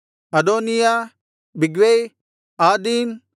ಅದೋನೀಯ ಬಿಗ್ವೈ ಆದೀನ್